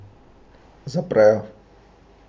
Zaprejo.